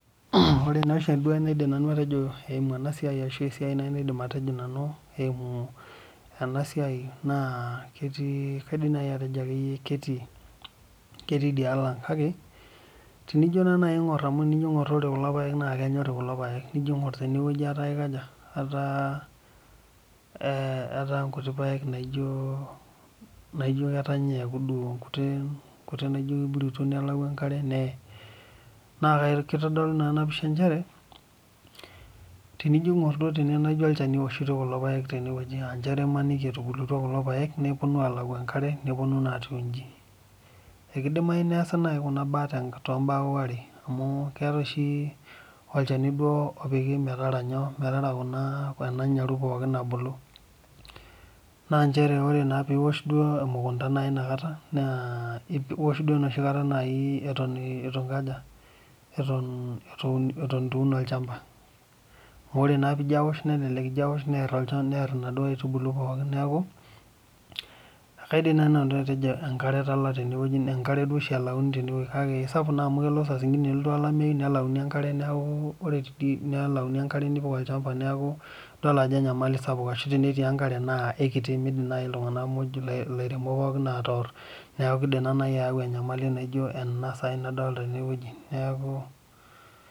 Ore naa enaidim nanu atejo ashu enaidim atejo eyimu ena siai naa ketii kaidim atejo ketii edialo ang kake tenijo aing'or kulo paek kenyori kulo paek nijo aing'or tenewueji etaa nkuti paek naijio ketanya eku duo nkuti naijio kiruto nelau enkare neye naa kitodolu ena pisha njere tenijo aing'or tene ijio olchani ewoshitoi kulo paek tenewueji aa etubulutua kulo paek nepuonu alawu enkare nepuonu naa ayieu eji ekidimagu naaji neesa Kuna mbaa too mbaa are amu keetae oshi olchani opiki metaara ena nyaru pookin ebulu naa njere keosh duo emukunda enakata ewosh duo enakata Eton eitu Eun olchamba amu ore naa pijo awosho near olchani nkaitubulu pookin neeku ekaidim duo naaji nanu atejo enkare etala tenewueji kaake kelo saa zingine nelotu olameyu nelauni enkare nipik olchamba neeku edol Ajo enyamali sapuk kake tenetii enkare naa kikiti midim naaji elairemok pookin atoor neeku kidim naaji ayau enyamali naijio ena sahi nadolita tenewueji neeku